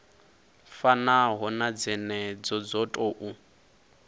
fanaho na dzenedzo dzo tou